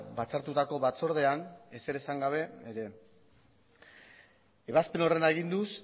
batzartutako batzordean ezer esan gabe ere ebazpen horren aginduz